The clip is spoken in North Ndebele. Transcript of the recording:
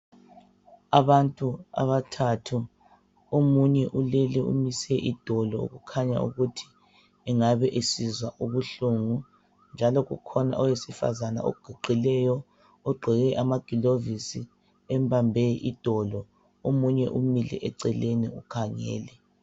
Abantu abathathu, omunye ulele umise idolo okukhanya ukuthi engabe esizwa ubuhlungu ,njalo kukhona owesifazana oguqileyo ogqoke amagilovisi embambe idolo , omunye umile eceleni ukhangele